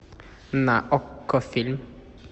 на окко фильм